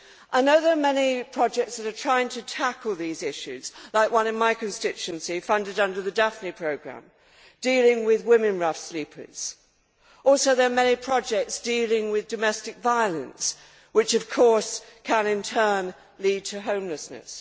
I know there are many projects that are trying to tackle these issues, like one in my constituency funded under the Daphne Programme dealing with women rough sleepers. Also there are many projects dealing with domestic violence, which of course can in turn lead to homelessness.